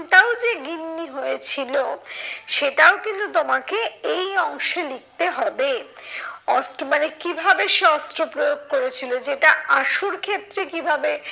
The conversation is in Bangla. ওটাও যে গিন্নি হয়েছিল। সেটাও কিন্তু তোমাকে এই অংশে লিখতে হবে। মানে কিভাবে সে অস্ত্র প্রয়োগ করেছিল যেটা আসল ক্ষেত্রে কিভাবে